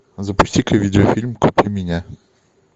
запусти ка видеофильм купи меня